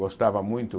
Gostava muito.